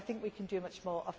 Yes. Do I think we can do